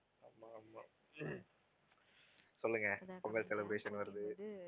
சொல்லுங்க பொங்கல் celebration வருது